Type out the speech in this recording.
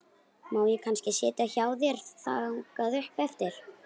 Má ég kannski sitja í hjá þér þangað upp eftir?